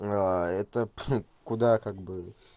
а это пф куда как-бы